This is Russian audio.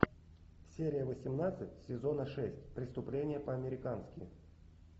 серия восемнадцать сезона шесть преступление по американски